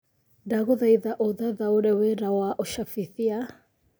ndagũthaĩtha ũthathaũre wĩra wa ũcabĩthĩtĩa